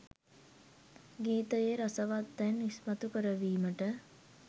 ගීතයේ රසවත් තැන් ඉස්මතු කරවීමට